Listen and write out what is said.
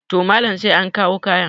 to Malam sai an kawo kayan